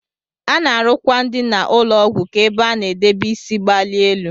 Ana arụ akwa ndina ụlọgwu ka ebe ana edebe isi gbalie elu.